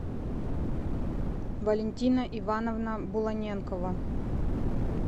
валентина ивановна буланенкова